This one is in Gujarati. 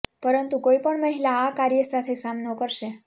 પરંતુ કોઈ પણ મહિલા આ કાર્ય સાથે સામનો કરશે